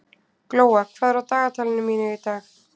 Glóa, hvað er á dagatalinu mínu í dag?